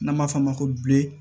N'an b'a f'a ma ko